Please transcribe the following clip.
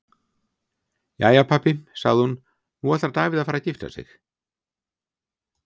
Jæja pabbi, sagði hún, nú ætlar Davíð að fara að gifta sig.